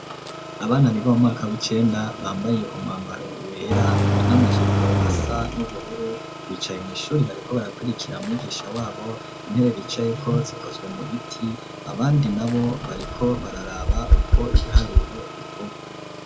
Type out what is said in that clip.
Abana biba u mwaka w'ikenda bambaye umwambaro wera n'amajipo asa n'ubururu bicaye mu ishuri bariko barakwirikira mwigisha wabo intere ricayeko zikozwe mu biti abandi nabo bariko bararaba uko ibiharuro bikuba.